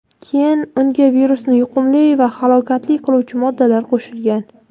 keyin unga virusni yuqumli va halokatli qiluvchi moddalar qo‘shgan.